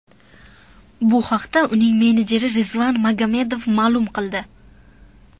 Bu haqda uning menejeri Rizvan Magomedov ma’lum qildi .